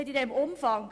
«in diesem Umfang».